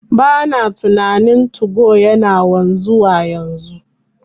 Bana tunanin 2go yana wanzuwa yanzu,